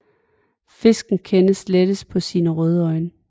Fisken kendes lettest på sine røde øjne